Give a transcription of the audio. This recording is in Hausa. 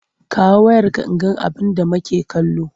Kawo wayarka in ga abinda make kallo!